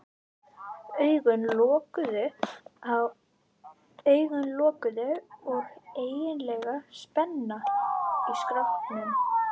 Augun lokuð og einkennileg spenna í skrokknum.